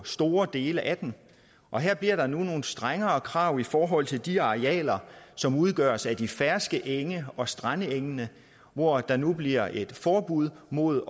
store dele af den og her bliver der nu nogle strengere krav i forhold til de arealer som udgøres af de ferske enge og strandengene hvor der nu bliver et forbud mod